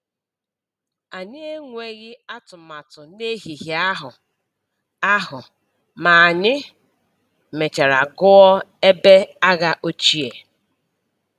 Anyị enweghi atụmatụ n’ehihie ahụ, ahụ, ma anyị mechara gụọ ebe agha ochie.